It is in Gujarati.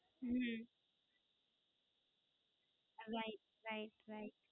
હમમમ. Right. Right. Right.